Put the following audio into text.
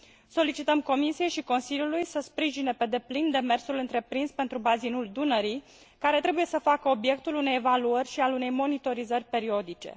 Solicităm Comisiei și Consiliului să sprijine pe deplin demersul întreprins pentru bazinul Dunării, care trebuie să facă obiectul unei evaluări și al unei monitorizări periodice.